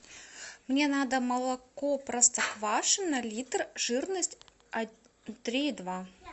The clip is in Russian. мне надо молоко простоквашино литр жирность три и два